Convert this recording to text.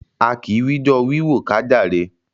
A kì wijọ́ọ́ wíwò ká jàre.